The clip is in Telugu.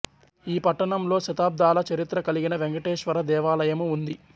ఈ పట్టణంలో శతాబ్దాల చరిత్ర కలిగిన వెంకటేశ్వర దేవాలయము ఉంది